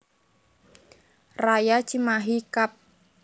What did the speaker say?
Raya Cimahi Kab